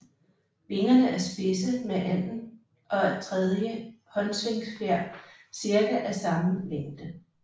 Vingerne er spidse med anden og tredje håndsvingfjer cirka af samme længde